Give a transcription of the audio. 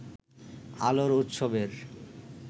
আলোর উৎসবের